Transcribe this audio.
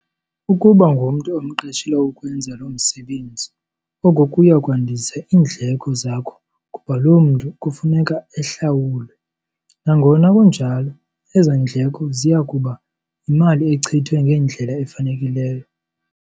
Ukuba ngumntu omqeshele ukwenza loo msebenzi oko kuya kwandisa iindleko zakho kuba loo mntu kufuneka ehlawulwe. Nangona kunjalo, ezo ndleko ziya kuba yimali echithwe ngendlela efanelekileyo.